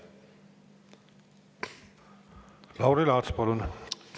Lauri Laats, palun!